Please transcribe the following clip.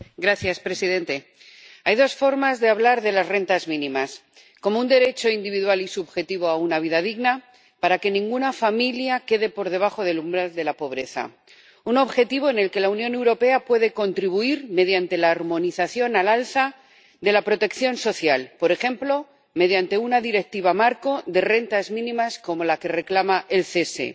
Señor presidente, hay dos formas de hablar de las rentas mínimas como un derecho individual y subjetivo a una vida digna para que ninguna familia quede por debajo del umbral de la pobreza —un objetivo al que la Unión Europea puede contribuir mediante la armonización al alza de la protección social, por ejemplo, mediante una directiva marco de rentas mínimas, como la que reclama el CESE—